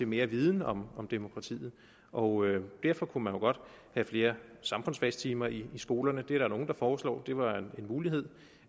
mere viden om demokratiet og derfor kunne man jo godt have flere samfundsfagstimer i skolerne det er der nogle der foreslår det var en mulighed